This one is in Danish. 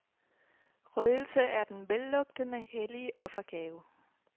Røgelse er den vellugtende, hellige offergave.